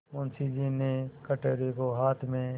मुंशी जी ने कटोरे को हाथ में